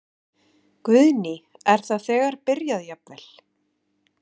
Guðný: Er það þegar byrjað jafnvel?